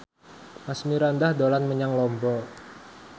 Asmirandah dolan menyang Lombok